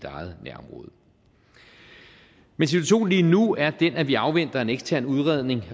eget nærområde men situationen lige nu er den at vi afventer en ekstern udredning